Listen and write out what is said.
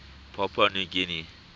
papua new guinean